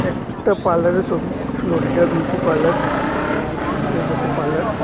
একটা পার্লারের ছবি ফ্লোরিডা বিউটি পার্লার দেইখে বোঝা যাইতেছে পার্লার ।